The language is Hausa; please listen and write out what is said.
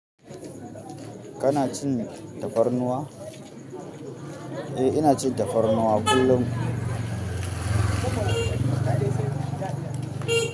Kana cin tafarnuwa? Eh ina cin tafarnuwa kullum.